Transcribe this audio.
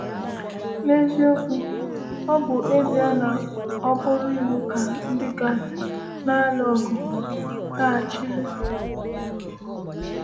“N’eziokwu, ọ bụ ezie na ọ bụrụ iwu ka ndị Gad na-alụ ọgụ laghachiri.”